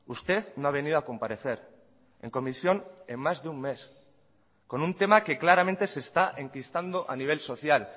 usted no ha venido a comparecer en comisión en más de un mes con un tema que claramente se está enquistando a nivel social